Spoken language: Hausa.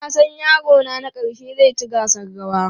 Na san yarona na ƙarshe zai ci gasar rawa.